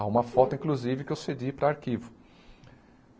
Há uma foto, inclusive, que eu cedi para arquivo.